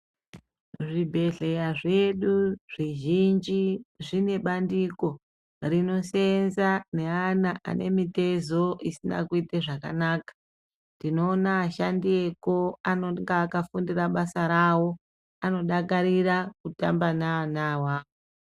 Zvibhedhleya zvedu zvizhinji zvine bandiko rinoseenza neana ane mitezo isina kuite zvakanaka. Tinoona ashandi eko anonga akafundira basa rawo anodakarira kutamba naana awawo.